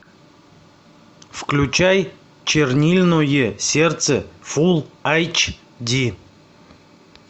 включай чернильное сердце фул айч ди